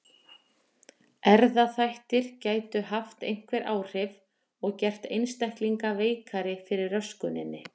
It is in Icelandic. Erfðaþættir gætu haft einhver áhrif og gert einstaklinga veikari fyrir röskuninni.